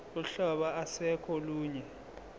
uhlobo ase kolunye